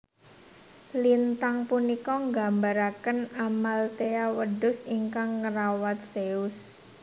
Lintang punika nggambaraken Amalthaea wedhus ingkang ngrawat Zeus